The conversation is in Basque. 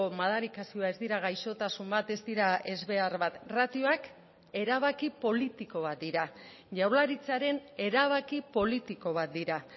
madarikazioa ez dira gaixotasun bat ez dira ezbehar bat ratioak erabaki politiko bat dira jaurlaritzaren erabaki politiko bat dira